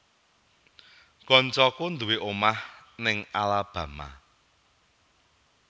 Koncoku nduwe omah ning Alabama